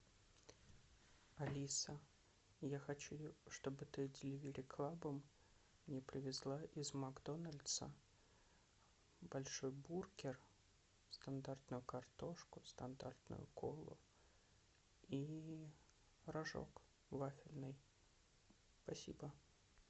алиса я хочу чтобы ты деливери клабом мне привезла из макдональдса большой бургер стандартную картошку стандартную колу и рожок вафельный спасибо